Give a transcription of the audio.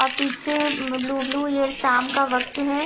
और पीछे में ब्लू ब्लू ये शाम का वक्त है।